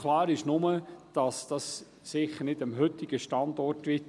Klar ist nur, das dies sicher nicht der heutige Standort sein wird.